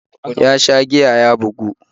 Ya sha giya ya bugu